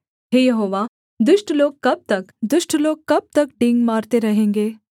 हे यहोवा दुष्ट लोग कब तक दुष्ट लोग कब तक डींग मारते रहेंगे